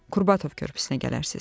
Qurbatov körpüsünə gələrsiz.